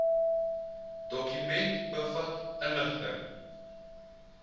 dokument bevat inligting